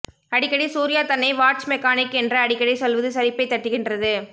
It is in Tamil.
அடிக்கடி சூர்யா தன்னை வாட்ச் மெக்கானிக் என்று அடிக்கடி சொல்வது சலிப்பை தட்டுகின்றது